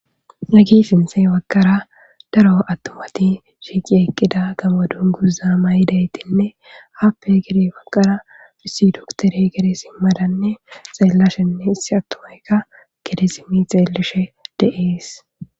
Duge baggara daro atumati shiiqi eqida gaamk dunguza mayidaytine appe ha bagara aissi dokitwrey gede sima xelashenne issi atumayka gede simi xeelishe de'es,